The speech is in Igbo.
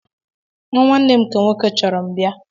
Nnwa nwanne m nke nwoke chọrọ m bia